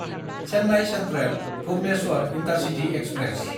Chennai सेन्ट्रेल–भुबनेस्वर intercity express